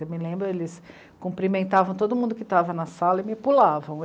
Eu me lembro, eles cumprimentavam todo mundo que estava na sala e me pulavam.